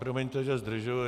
Promiňte, že zdržuji.